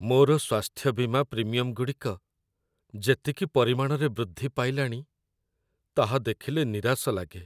ମୋର ସ୍ୱାସ୍ଥ୍ୟ ବୀମା ପ୍ରିମିୟମଗୁଡ଼ିକ ଯେତିକି ପରିମାଣରେ ବୃଦ୍ଧି ପାଇଲାଣି, ତାହା ଦେଖିଲେ ନିରାଶ ଲାଗେ।